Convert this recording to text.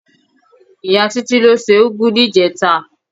Ìyá Títí ló se úgú níjẹta.